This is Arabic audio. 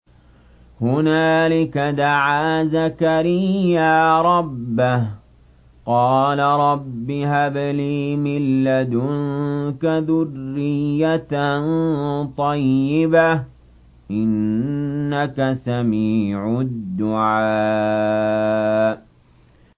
هُنَالِكَ دَعَا زَكَرِيَّا رَبَّهُ ۖ قَالَ رَبِّ هَبْ لِي مِن لَّدُنكَ ذُرِّيَّةً طَيِّبَةً ۖ إِنَّكَ سَمِيعُ الدُّعَاءِ